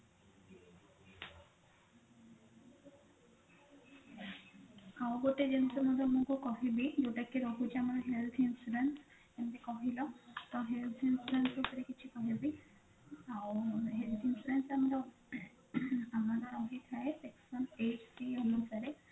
ଆଉ ଗୋଟେ ଜିନିଷ ମୁଁ ତମକୁ କହିବି ଯୋଉଟା କି ରହୁଛି ଆମର health insurance ଯେମତି କହିଲ ତ health insurance ବିଷୟରେ କିଛି କହିବି ଆଉ health insurance ଆମର ଆମର ରହିଥାଏ section eighty ଅନୁସାରେ